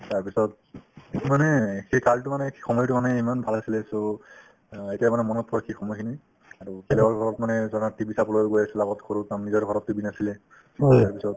তাৰপিছত মানে সেই কালতো মানে সেই সময়তো মানে ইমান ভাল আছিলে so অ এতিয়া মানে মনত পৰে সেই সময় খিনি আৰু বেলেগৰ ঘৰত মানে ধৰা TV চাবলৈ গৈ আছিলো আগত সৰু চাম নিজৰ ঘৰত TV নাছিলে তাৰপিছত